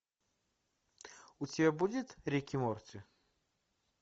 у тебя будет рик и морти